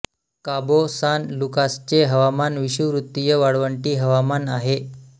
काबो San लुकासचे हवामान विषुववृत्तीय वाळवंटी हवामान आहे